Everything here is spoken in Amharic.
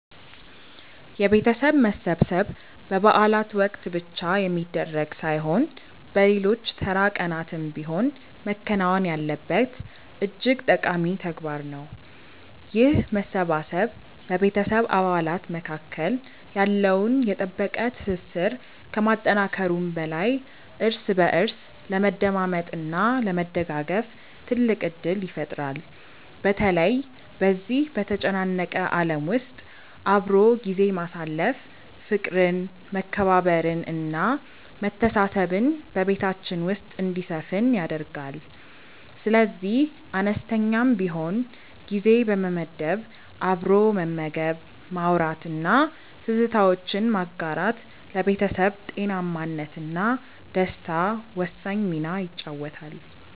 የቤተሰብ መሰብሰብ በበዓላት ወቅት ብቻ የሚደረግ ሳይሆን በሌሎች ተራ ቀናትም ቢሆን መከናወን ያለበት እጅግ ጠቃሚ ተግባር ነው። ይህ መሰባሰብ በቤተሰብ አባላት መካከል ያለውን የጠበቀ ትስስር ከማጠናከሩም በላይ እርስ በእርስ ለመደማመጥ እና ለመደጋገፍ ትልቅ ዕድል ይፈጥራል። በተለይ በዚህ በተጨናነቀ ዓለም ውስጥ አብሮ ጊዜ ማሳለፍ ፍቅርን መከባበርን እና መተሳሰብን በቤታችን ውስጥ እንዲሰፍን ያደርጋል። ስለዚህ አነስተኛም ቢሆን ጊዜ በመመደብ አብሮ መመገብ ማውራት እና ትዝታዎችን ማጋራት ለቤተሰብ ጤናማነት እና ደስታ ወሳኝ ሚና ይጫወታል